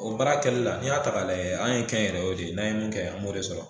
O baara kɛli la ni y'a ta k'a layɛ an ye kɛnyɛrɛyew de ye n'an ye mun kɛ an b'o de sɔrɔ.